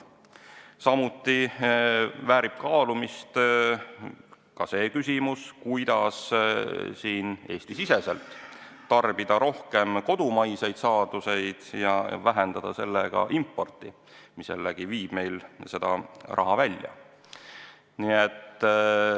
Samuti väärib kaalumist, kuidas Eesti-siseselt tarbida rohkem kodumaiseid saadusi ja vähendada importi, mis viib meilt raha välja.